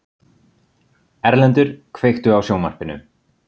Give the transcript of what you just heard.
Erlendur, kveiktu á sjónvarpinu.